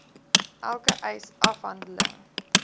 elke eis afhandeling